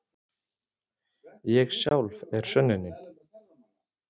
Ég sjálf er sönnunin.